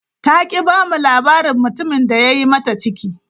Ta ki ba mu labarin mutumin da ya yi mata ciki.